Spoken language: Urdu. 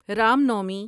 رام نومی